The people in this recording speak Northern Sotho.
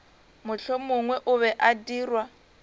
mohlomongwe o be a dirwa